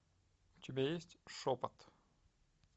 у тебя есть шепот